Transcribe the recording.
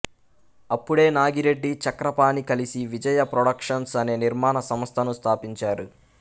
అప్పుడే నాగిరెడ్డి చక్రపాణి కలిసి విజయా ప్రొడక్షన్స్ అనే నిర్మాణ సంస్థను స్థాపించారు